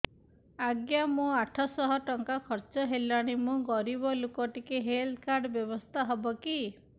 ଆଜ୍ଞା ମୋ ଆଠ ସହ ଟଙ୍କା ଖର୍ଚ୍ଚ ହେଲାଣି ମୁଁ ଗରିବ ଲୁକ ଟିକେ ହେଲ୍ଥ କାର୍ଡ ବ୍ୟବସ୍ଥା ହବ କି